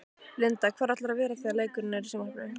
Linda: Hvar ætlarðu að vera þegar leikurinn er í sjónvarpinu?